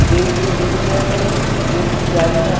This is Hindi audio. गेट भी नीले कलर का है गेट की जालियाँ --